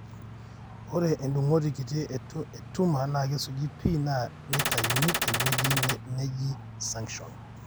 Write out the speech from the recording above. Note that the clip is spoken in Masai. ore endungoti kitii e tumor na kisuji pii na nitaiyuni te weuji neji suction.